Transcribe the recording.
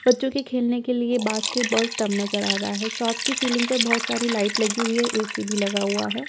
बच्चों के खेलने के लिए बास्केटबॉल स्‍टंब नजर आ रहा है शॉप की सीलिंग पर बहुत सारी लाइट लगी हुई है ऐ_सी भी लगा हुआ है।